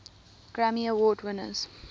grammy award winners